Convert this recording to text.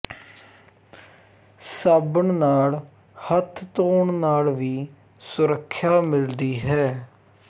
ਸਾਬਣ ਨਾਲ ਹੱਥ ਧੋਣ ਨਾਲ ਵੀ ਸੁਰੱਖਿਆ ਮਿਲਦੀ ਹੈ